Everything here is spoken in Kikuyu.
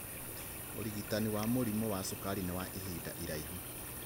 ũrigitani wa mũrimu wa cukari nĩ wa ihinda iraihu